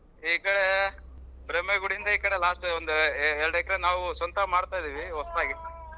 ಈಗ ಗುಡಿಯಿಂದ ಈ ಕಡೆ last ಒಂದ್ ಒಂದೇರಡ್ ಎಕ್ರೆ ನಾವ್ ಸ್ವಂತ ಮಾಡ್ತಾ ಇದೀವಿ ಹೊಸ್ತಾಗಿ .